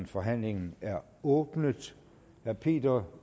forhandlingen er åbnet herre peter